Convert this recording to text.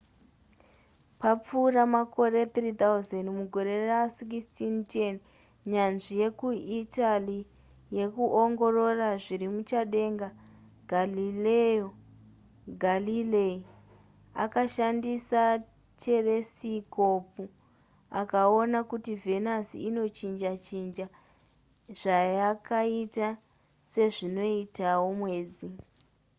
papfuura makore 3 000 mugore ra1610 nyanzvi yekuitaly yekuongorora zviri muchadenga galileo galilei akashandisa teresikopu akaona kuti venus inochinja chinja zvayakaita sezvinoitawo mwedzi